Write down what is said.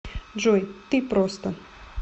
джой ты просто